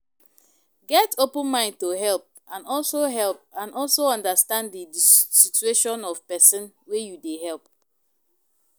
Get open mind to help and also help and also understand di situation of person wey you dey help